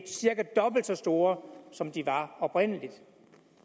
cirka dobbelt så store som de oprindelig